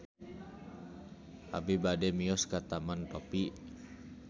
Abi bade mios ka Taman Topi